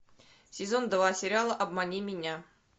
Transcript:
сезон два сериала обмани меня